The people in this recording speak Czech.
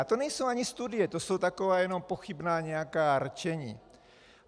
A to nejsou ani studie, to jsou taková jenom pochybná nějaká rčení.